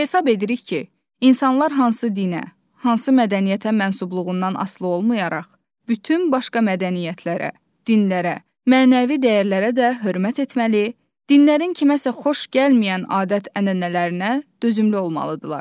Hesab edirik ki, insanlar hansı dinə, hansı mədəniyyətə mənsubluğundan asılı olmayaraq, bütün başqa mədəniyyətlərə, dinlərə, mənəvi dəyərlərə də hörmət etməli, dinlərin kiməsə xoş gəlməyən adət-ənənələrinə dözümlü olmalıdırlar.